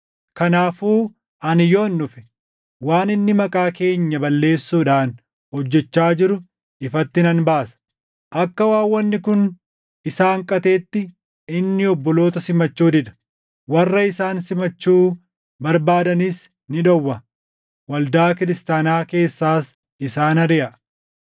Kanaafuu ani yoon dhufe waan inni maqaa keenya balleessuudhaan hojjechaa jiru ifatti nan baasa. Akka waan wanni kun isa hanqateetti inni obboloota simachuu dida. Warra isaan simachuu barbaadanis ni dhowwa; waldaa kiristaanaa keessaas isaan ariʼa.